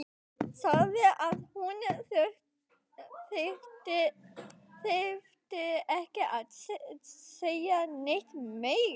Sagði að hún þyrfti ekki að segja neitt meira.